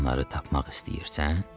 Onları tapmaq istəyirsən?